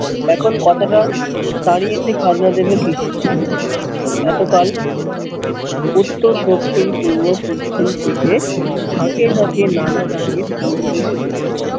এখন কথা টা দাঁড়িয়েছে খাজনা দেব কিসে এতো কাল উত্তর দক্ষিণ পূর্ব পশ্চিম থেকে ঝাঁকে ঝাঁকে নানা জাতের বুলবুলি উঠে